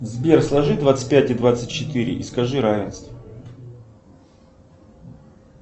сбер сложи двадцать пять и двадцать четыре и скажи равенство